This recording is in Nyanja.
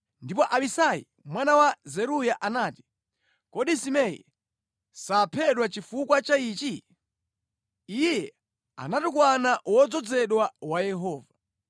Ndipo Abisai mwana wa Zeruya anati, “Kodi Simei saphedwa chifukwa cha ichi? Iye anatukwana wodzozedwa wa Yehova.”